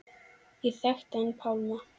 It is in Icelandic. Ég þekkti hann Pálma.